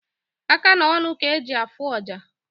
Aka na ọnụ ka eji afụ ọja